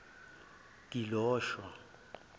gilosho